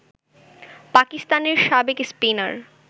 পাকিস্তানের সাবেক স্পিনার